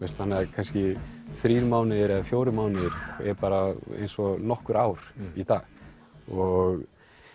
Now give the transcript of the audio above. kannski þrír mánuðir eða fjórir mánuðir er bara eins og nokkur ár í dag og